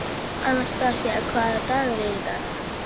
Anastasía, hvaða dagur er í dag?